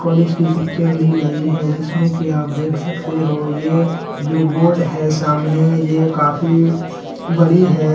College की picture ली गई है जिसमे की आप देख सकते हो ये जो बोर्ड है सामने ये काफी बड़ी है।